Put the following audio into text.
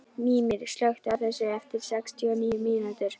Mímir, slökktu á þessu eftir sextíu og níu mínútur.